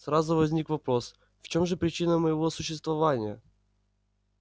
сразу возник вопрос в чем же причина моего существования